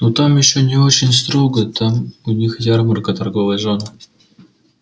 ну там ещё не очень строго там у них ярмарка торговая зона